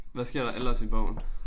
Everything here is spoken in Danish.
Hvad sker der ellers i bogen?